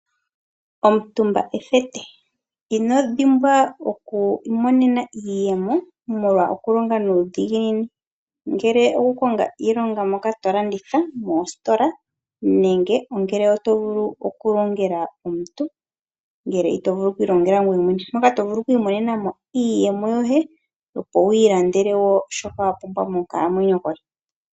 Omutumba ethete. Inodhimbwa oku imonena iiyemo molwa okulonga nuudhiginini. Ngele okukonga iilonga moka tolanditha moositola, nenge oto vulu okulongela omuntu, ngele ito vulu okwiilongela ngweye mwene. Oto vulu okwiimonena iiyemo yoye opo wiilandele shoka wapumbwa monkalamwenyo yoye.